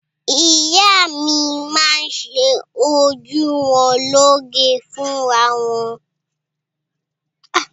Ìyá mi máa ń ṣe ojú wọn lóge fúnra wọn.